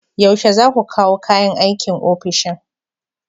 Yaushe za ku kawo kayan aikin ofishin?